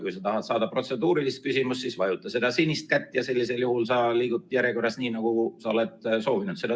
Kui sa tahad esitada protseduurilist küsimust, siis vajuta seda sinist kätt ja sellisel juhul sa liigud järjekorras nii, nagu sa oled soovinud.